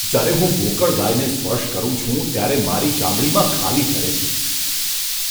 જ્યારે હું ગોકળગાયને સ્પર્શ કરું છું ત્યારે મારી ચામડીમાં ખાલી ચઢે છે.